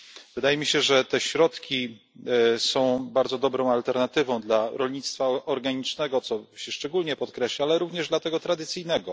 Wydaje mi się, że te środki są bardzo dobrą alternatywą dla rolnictwa organicznego co się szczególnie podkreśla ale również dla tego tradycyjnego.